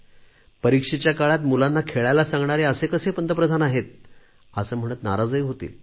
परीक्षेच्या काळात मुलांना खेळायला सांगणारे असे कसे पंतप्रधान आहेत असे म्हणत नाराज होतील